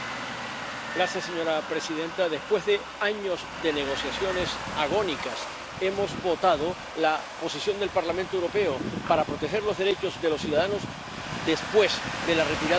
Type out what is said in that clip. Señora presidenta, después de años de negociaciones agónicas hemos votado la posición del Parlamento Europeo para proteger los derechos de los ciudadanos después de la retirada del Reino Unido.